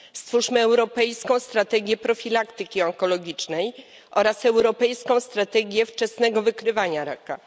Stwórzmy europejską strategię profilaktyki onkologicznej oraz europejską strategię wczesnego wykrywania raka.